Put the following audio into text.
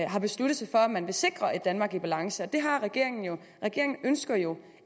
har besluttet sig for at man vil sikre et danmark i balance og det har regeringen jo regeringen ønsker jo